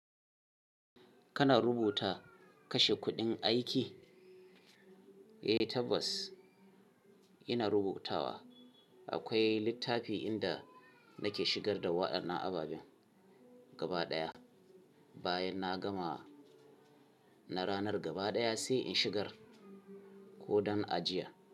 Kana rubuta kashe kuɗin aiki? Eh tabbas ina rubutawa. Akwai littafi inda nake shigar da waɗannan ababen gaba ɗaya. Bayan na gama na ranar gaba ɗaya sai in shigar ko don ajiya.